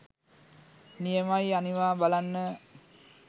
නියමයි අනිවා බලන්න